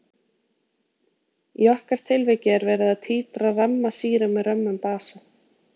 í okkar tilviki er verið að títra ramma sýru með römmum basa